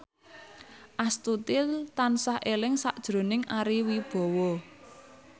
Astuti tansah eling sakjroning Ari Wibowo